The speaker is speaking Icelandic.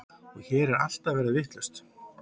Og hér er allt að verða vitlaust.